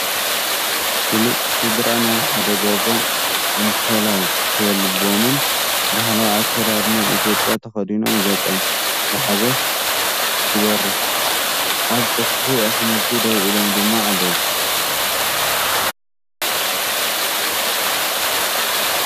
ፍሉጥ ስድራ ናይ ሓደ ገዛ እንኮላይ ከልቦምን፡ ባህላዊ ኣከዳድና ኢትዮጵያ ተኸዲኖምን ገፆም ብሓጎስ ትበርህ፡ ኣብ ጽፍሒ ኣሕምልቲ ደው ኢሎም ድማ ኣለው።